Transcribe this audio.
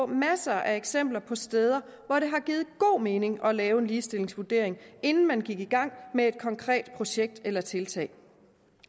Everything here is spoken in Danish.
masser af eksempler på steder hvor det har givet god mening at lave en ligestillingsvurdering inden man gik i gang med et konkret projekt eller tiltag